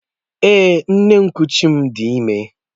Èè, nne nkuchi m di ime.